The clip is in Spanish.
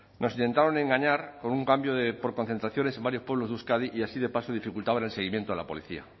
nos intentaron engañar con un cambio de por concentraciones en varios pueblos de euskadi y así de paso dificultaban el seguimiento a la policía